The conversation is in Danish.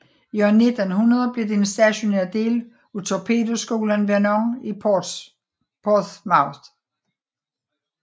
I år 1900 blev det en stationær del af torpedoskolen Vernon i Portsmouth